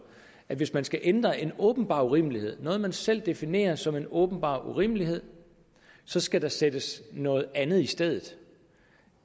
at hvis man skal ændre en åbenbar urimelighed noget man selv definerer som en åbenbar urimelighed så skal der sættes noget andet i stedet